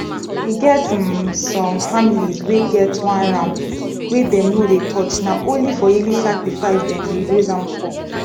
e get um some families wey get one ram wey dem no dey touch na only for yearly sacrifice them dey raise am for